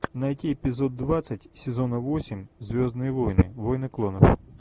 найти эпизод двадцать сезона восемь звездные войны войны клонов